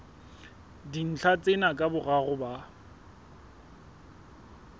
dintlha tsena ka boraro ba